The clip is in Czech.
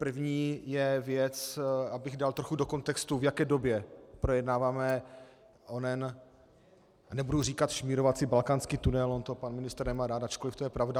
První je věc, abych dal trochu do kontextu, v jaké době projednáváme onen nebudu říkat šmírovací balkánský tunel, on to pan ministr nemá rád, ačkoliv to je pravda.